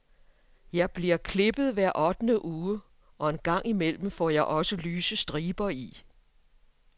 Jeg bliver klippet hver ottende uge, og en gang imellem får jeg også lyse striber i.